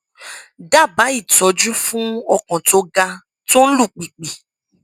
dábàá ìtọjú fún ọkàn tó ga tó ń lù pìpì